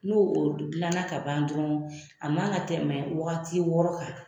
N'o o dilan ka ban dɔrɔn a man ka tɛmɛ waati wɔɔrɔ kan.